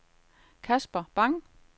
Kasper Bang